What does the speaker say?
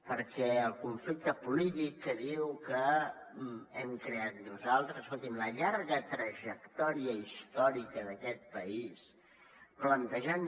perquè el conflicte polític que diu que hem creat nosaltres escolti’m la llarga trajectòria històrica d’aquest país plantejant